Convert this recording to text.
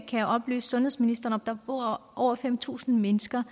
kan oplyse sundhedsministeren om bor over fem tusind mennesker